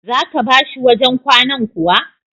Za ka ba shi wajen kwanan kuwa?